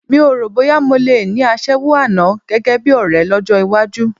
Mi o rò bóyá mo le ní aṣẹ́wó àná gẹ́gẹ́ bí ọ̀rẹ́ lọ́jọ́ iwájú